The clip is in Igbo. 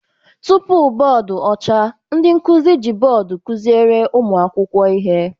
Tupu bọọdụ ọcha, ndị nkụzi ji bọọdụ kụziere ụmụ akwụkwọ ihe